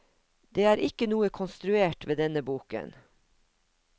Det er ikke noe konstruert ved denne boken.